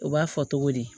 U b'a fɔ togo di